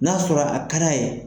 N'a sɔrɔ a d'a ye.